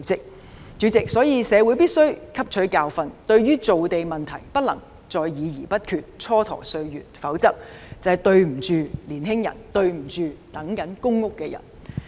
因此，主席，社會必須汲取教訓，對於造地問題不能再議而不決，蹉跎歲月，否則就愧對年青人和正在輪候公屋的人士。